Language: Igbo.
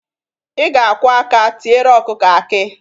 Ị ga-akwọ aka tiere ọkụkọ akị.